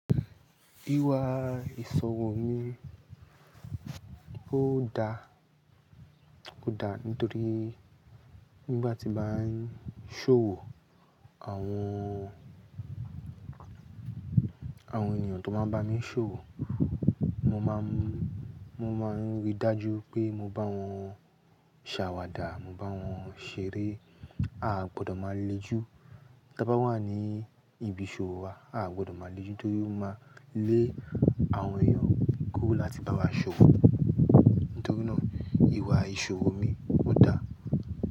Ìwà ìṣòwò mi kó da, kó da nítorí nígbà tí bá ń ṣòwò àwọn, àwọn ènìyàn tó bá máa bá mi ṣòwò mo máa ń, mo máa ń rí dájú pé mo bá wọn ṣàwàdà, mo bá wọn ṣeré, a gbọdọ̀ máa le jù tí bá wà ní ibi ìṣòwò wa, a gbọdọ̀ máa le jù kí ó máa lé àwọn ènìyàn kú láti bá wa ṣòwò. Nítorínà ìwà ìṣòwò mi kó da.